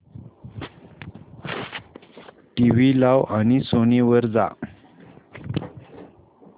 TV लाव आणि Sony वर जा